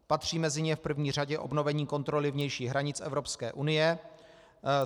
Patří mezi ně v první řadě obnovení kontroly vnějších hranic Evropské unie.